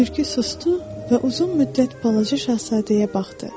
Tülkü susdu və uzun müddət balaca şahzadəyə baxdı.